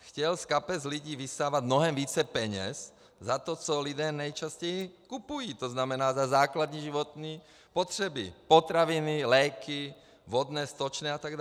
Chtěl z kapes lidí vysávat mnohem více peněz za to, co lidé nejčastěji kupují, to znamená za základní životní potřeby - potraviny, léky, vodné, stočné atd.